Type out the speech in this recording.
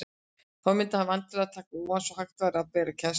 Þá mundi hann væntanlega taka ofan, svo hægt væri að bera kennsl á hann.